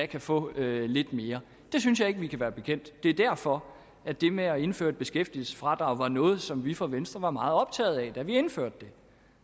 kan få lidt mere det synes jeg ikke vi kan være bekendt det er derfor at det med at indføre et beskæftigelsesfradrag var noget som vi fra venstre var meget optaget af da vi indførte det